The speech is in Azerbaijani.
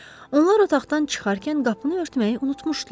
Onlar otaqdan çıxarkən qapını örtməyi unutmuşdular.